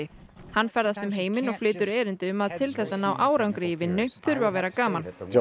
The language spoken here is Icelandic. hann ferðast um heiminn og flytur erindi um að til þess að ná árangri í vinnu þurfi að vera gaman John